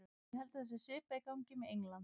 Ég held að það sé svipað í gangi með England.